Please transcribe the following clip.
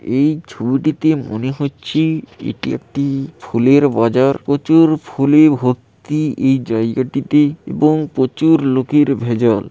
এই ছবিটিতে মনে হচ্ছে-এ এটি একটি-ই ফুলের বাজার প্রচুর ফুলে ভর্তি এই জায়গাটিতে এবং প্রচুর লোকের ভেজাল।